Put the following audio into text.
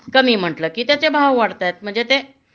कमी म्हटलं कि त्याचे भाव वाढतायत म्हणजे ते